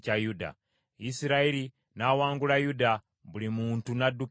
Isirayiri n’awangula Yuda, buli muntu n’addukira ewuwe.